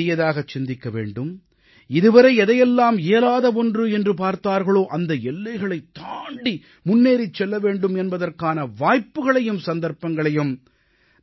பெரியதாகச் சிந்திக்க வேண்டும் இதுவரை எதையெல்லாம் இயலாத ஒன்று என்று பார்த்தார்களோ அந்த எல்லைகளைத் தாண்டி முன்னேறிச் செல்ல வேண்டும் என்பதற்கான வாய்ப்புக்களையும் சந்தர்ப்பங்களையும்